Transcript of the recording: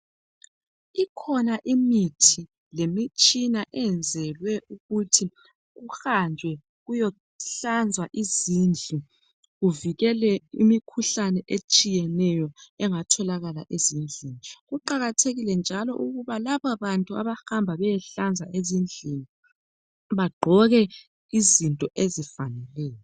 Ikhona imithi lemitshina eyenzelwe ukuthi kuhanjwe kuyehlanzwa izindlu kuvikele imikhuhlane etshiyeneyo engatholakala ezindlini. Kuqakathekile njalo ukuba laba bantu abahamba behlanza ezindlini bagqoke izinto ezivalekileyo.